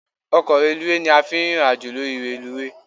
Ọkọ reluwé ni a fi ń rìnrìn àjò lórí reluwé